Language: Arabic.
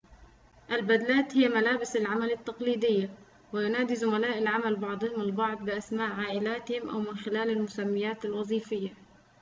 البدلاتُ هي ملابسُ العملِ التقليديّة وينادي زملاء العملِ بعضهم البعض بأسماء عائلاتهم أو من خلال المسميّات الوظيفيّة